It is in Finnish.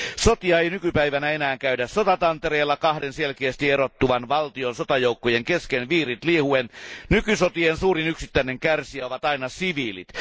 Sotia ei nykypäivänä enää käydä sotatantereella kahden selkeästi erottuvan valtion sotajoukkojen kesken viirit liehuen, nykysotien suurin yksittäinen kärsijä ovat aina siviilit.